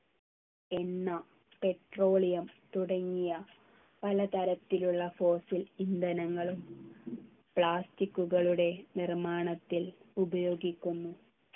എണ്ണ petroleum തുടങ്ങിയ പലതരത്തിലുള്ള fossil ഇന്ധനകളും plastic കളുടെ നിർമ്മാണത്തിൽ ഉപയോഗിക്കുന്നു